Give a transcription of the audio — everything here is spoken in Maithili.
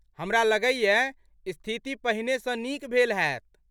हमरा लगैए, स्थिति पहिने सँ नीक भेल हैत?